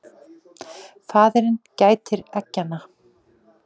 Faðirinn gætir eggjanna.